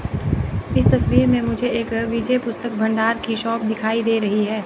इस तस्वीर में मुझे एक विजय पुस्तक भंडार की शॉप दिखाई दे रही है।